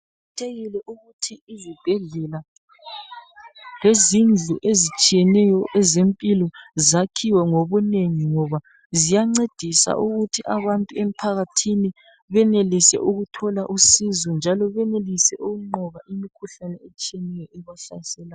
Kuqakathekile ukuthi izibhedlela lezindlu ezitshiyeneyo zempilakahle zakhiwe ngobunengi ngoba ziyancedisa ukuthi abantu emphakathini benelise ukuthola usizo njalo benelise ukunqoba emikhuhlaneni